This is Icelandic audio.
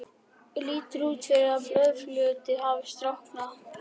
Lítur út fyrir að blóðfljótið hafi storknað.